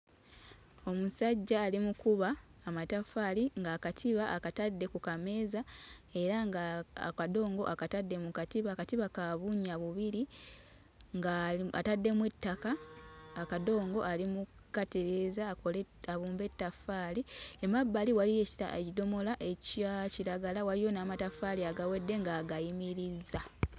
Omusajja ali mu kkuba amataffaali ng'akatiba akatadde ku kameeza era nga akadongo akatadde mu katiba akatiba ka bunnya bubiri ng'ali ataddemu ettaka akadongo ali mu kkatereeza akole abumbe ettaffaali. Emabbali waliyo ekidomola ekya kiragala waliyo n'amataffaali agawedde ng'agayimirizza.